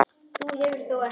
Þú hefur þó ekki.